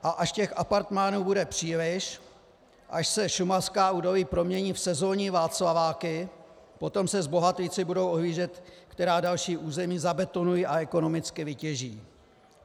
A až těch apartmánů bude příliš, až se šumavská údolí promění v sezónní Václaváky, potom se zbohatlíci budou ohlížet, která další území zabetonují a ekonomicky vytěží.